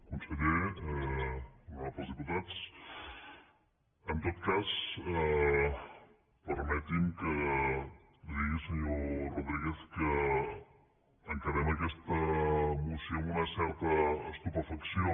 conseller honorables diputats en tot cas permeti’m que li digui senyor rodríguez que encarem aquesta moció amb una certa estupefacció